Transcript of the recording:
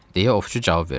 – deyə ovçu cavab verdi.